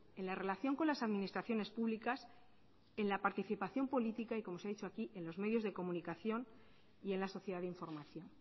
en la relación con las administraciones públicas en la participación política y como se ha dicho aquí en los medios de comunicación y en la sociedad de información